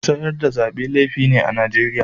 Sayar da Zabe laifi ne a'Nijeriya.